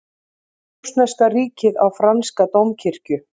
Rússneska ríkið á franska dómkirkju